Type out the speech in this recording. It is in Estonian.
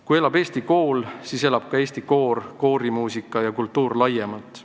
Kui elab eesti kool, siis elab ka eesti koorimuusika ja kultuur laiemalt.